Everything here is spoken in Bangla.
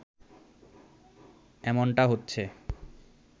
এমনটা হচ্ছে